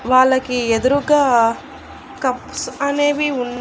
వాళ్ళకి ఎదురుగా కప్స్ అనేవి ఉన్--